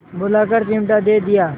बुलाकर चिमटा दे दिया